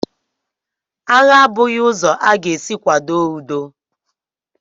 Agha a bụghị ụzọ a ga-esi kwado udo.